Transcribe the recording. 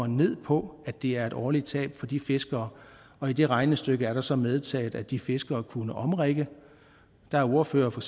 ned på at det er et årligt tab for de fiskere og i det regnestykke er der så medtaget at de fiskere kunne omrigge der er ordførere for